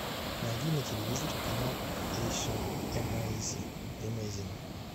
найди на телевизоре канал эйша эмейзинг